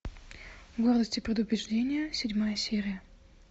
гордость и предубеждение седьмая серия